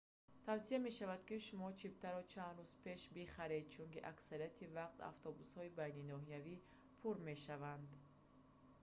тавсия мешавад ки шумо чиптаро чанд рӯз пеш бихаред чунки аксарияти вақт автобусҳои байниноҳиявӣ пур мебошанд